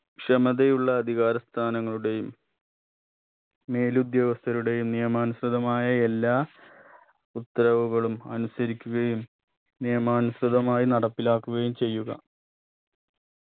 ക്ഷമതയുള്ള അധികാര സ്ഥാനങ്ങളുടെയും മേലുദ്യോഗസ്ഥരുടെയും നിയമാനുസൃതമായ എല്ലാ ഉത്തരവുകളും അനുസരിക്കുകയും നിയമാനുസൃതമായി നടപ്പിലാക്കുകയും ചെയ്യുക